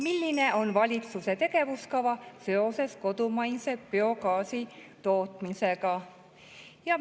Milline on valitsuse tegevuskava seoses kodumaise biogaasi tootmisega?